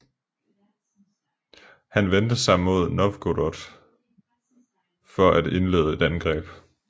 Han vendte sig mod Novgorod for at indlede et angreb